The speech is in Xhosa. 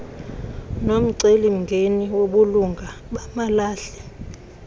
nomcelimngeni wobulunga bamalahle